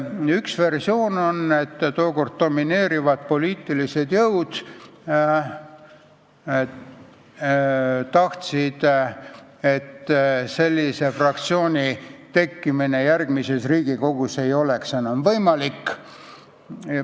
Üks versioon on, et tookord domineerinud poliitilised jõud tahtsid, et sellise fraktsiooni tekkimine järgmises Riigikogus ei oleks enam võimalik.